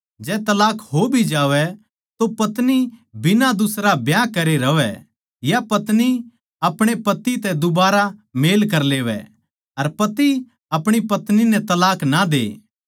जै तलाक हो भी जावै तो पत्नी बिना दुसरा ब्याह करे रहवै या पत्नी अपणे पति तै दुबारा मेल कर लेवै अर पति अपणी पत्नी नै तलाक ना दे